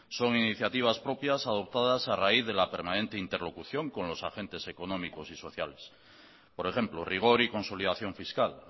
son iniciativas propias adoptadas a raíz de la permanente interlocución con los agentes económicos y sociales por ejemplo rigor y consolidación fiscal